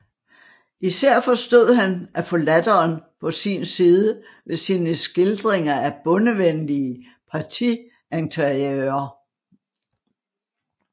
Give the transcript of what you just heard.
Især forstod han at få latteren på sin side ved sine skildringer af bondevenlige partiinteriører